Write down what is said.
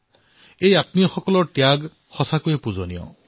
বাস্তৱতেই এওঁলোকৰ ত্যাগ পূজনীয়